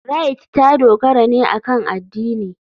Rite ta dogara ne akan addini.